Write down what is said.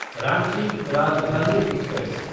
Ranchi Rajdhani express